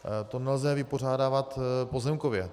To nelze vypořádávat pozemkově.